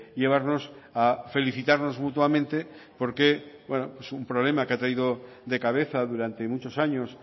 llevarnos a felicitarnos mutuamente porque es un problema que ha traído de cabeza durante muchos años